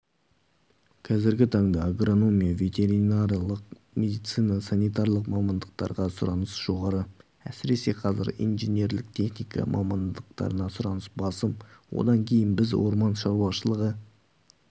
қазіргі таңда агрономия ветеринарлық медицина санитарлық мамандықтарға сұраныс жоғары әсіресе қазір инжинерлік техника мамандықтарына сұраныс басым одан кейін біз орман шаруашылығы